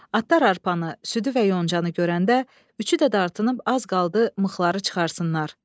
Atlar arpanı, südü və yoncanı görəndə üçü də dartınıb az qaldı mıxları çıxarsınlar.